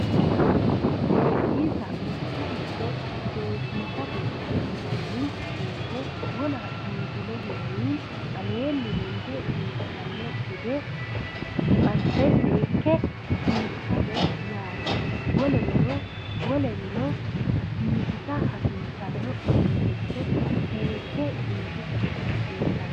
Seesisa mittoricho seesisate yinanni woyite wona biifinohunni aleenni lede biifanno gede asse seekke biifisate yaate wolereno biifisa hasiissano uduunnicho seekke biifisa hasiisano